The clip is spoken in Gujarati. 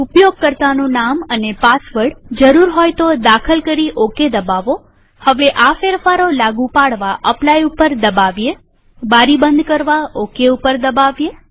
ઉપયોગકર્તાનું નામ અને પાસવર્ડ જરૂર હોય તો દાખલ કરી ઓકે દબાવોહવે આ ફેરફારો લાગુ પાડવા અપ્લાય પર દબાવીએબારી બંધ કરવા ઓકે પર દબાવીએ